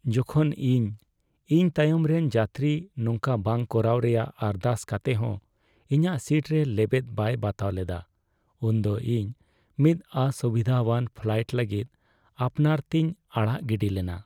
ᱡᱚᱠᱷᱚᱱ ᱤᱧ ᱤᱧ ᱛᱟᱭᱚᱢ ᱨᱮᱱ ᱡᱟᱹᱛᱨᱤ ᱱᱚᱝᱠᱟ ᱵᱟᱝ ᱠᱚᱨᱟᱣ ᱨᱮᱭᱟᱜ ᱟᱨᱫᱟᱥ ᱠᱟᱛᱮᱜ ᱦᱚᱸ ᱤᱧᱟᱹᱜ ᱥᱤᱴ ᱨᱮ ᱞᱮᱵᱮᱫ ᱵᱟᱭ ᱵᱟᱛᱟᱣ ᱞᱮᱫᱟ ᱩᱱᱫᱚ ᱤᱧ ᱢᱤᱫ ᱚᱥᱩᱵᱤᱫᱟᱣᱟᱱ ᱯᱷᱞᱟᱭᱤᱴ ᱞᱟᱹᱜᱤᱫ ᱟᱯᱱᱟᱨ ᱛᱮᱧ ᱟᱲᱟᱜ ᱜᱤᱰᱤ ᱞᱮᱱᱟ ᱾